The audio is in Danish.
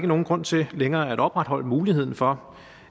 nogen grund til længere at opretholde muligheden for